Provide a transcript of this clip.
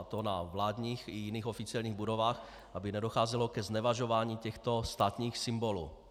A to na vládních i jiných oficiálních budovách, aby nedocházelo ke znevažování těchto státních symbolů.